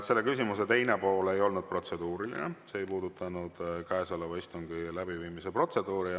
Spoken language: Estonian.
Selle küsimuse teine pool ei olnud protseduuriline, see ei puudutanud käesoleva istungi läbiviimise protseduuri.